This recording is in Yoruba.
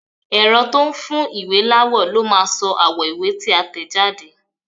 Ẹ̀rọ tó n fún ìwé láwọ̀ ló máa sọ àwọ̀ ìwé tí a tẹ̀jáde